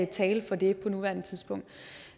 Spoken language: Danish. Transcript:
tale for det på nuværende tidspunkt